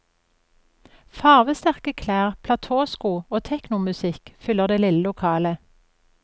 Farvesterke klær, platåsko og technomusikk fyller det lille lokalet.